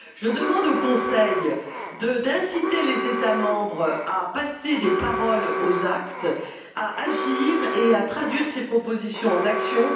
Je demande au Conseil d'inciter les États membres à passer des paroles aux actes, à agir et à traduire ces propositions en actions.